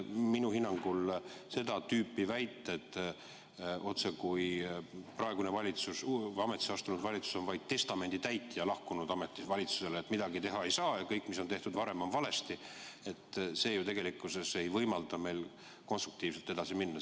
Minu hinnangul seda tüüpi väited, otsekui praegune, uus ametisse astunud valitsus on vaid ametist lahkunud valitsuse testamendi täitja, kes midagi teha ei saa ja kelle jaoks kõik, mis on tehtud varem, on valesti – see ju tegelikkuses ei võimalda meil konstruktiivselt edasi minna.